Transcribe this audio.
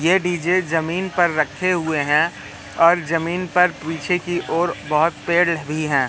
ये डी_जे जमीन पर रखे हुए हैं और जमीन पर पीछे की ओर बहोत पेड़ ल भी है।